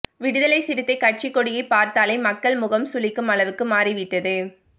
விடுதலை சிறுத்தை கட்சி கொடியை பார்த்தாலே மக்கள் முகம் சுளிக்கும் அளவுக்கு மாறிவிட்டது